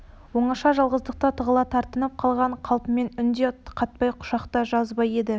оңаша жалғыздықта тығыла тартынып қалған қалпымен үн де қатпай құшақ та жазбап еді